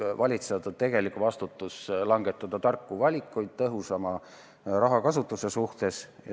Valitsejate tegelik vastutus on langetada tarku valikuid tõhusama rahakasutuse huvides.